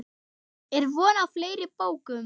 Er von á fleiri bókum?